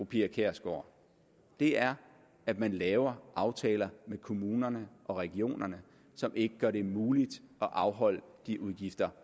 pia kjærsgaard er at man laver aftaler med kommunerne og regionerne som ikke gør det muligt at afholde de udgifter